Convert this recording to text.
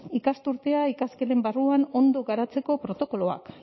ikasturtea ikasketen barruan ondo garatzeko protokoloak